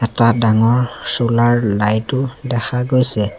এটা ডাঙৰ solar light ও দেখা গৈছে।